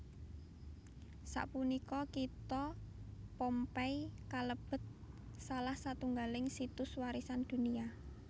Sapunika kitha Pompeii kalebet salah satunggaling Situs Warisan Dunia